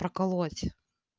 проколоть